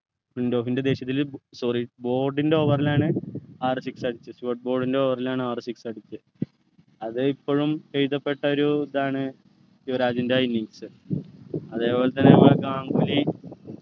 ഫ്ലിൻറ്റോഫിൻ്റെ ദേഷ്യത്തില് sorry ൻ്റെ over ലാണ് ആറു six അടിച്ചത് ൻ്റെ over ലാണ് ആറു six അടിച്ചത് അത് ഇപ്പോഴും എഴുതപ്പെട്ട ഒരു ഇതാണ് യുവരാജിൻ്റെ innings അതേപോലെതന്നെ പ്പോ ഗാംഗുലി